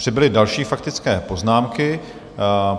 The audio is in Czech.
Přibyly další faktické poznámky.